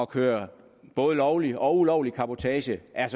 kører både lovlig og ulovlig cabotage er